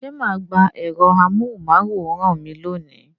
Ṣé ma gba ẹ̀rọ amóhùn máwòrán mi lónìí?